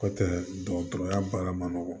Kɔfɛ dɔgɔtɔrɔya baara man nɔgɔn